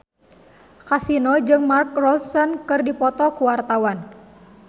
Kasino jeung Mark Ronson keur dipoto ku wartawan